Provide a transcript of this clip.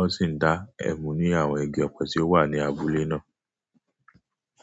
ó sì ń dá ẹmu ní àwọn igi ọ̀pẹ tí ó wà ní abúlé náà.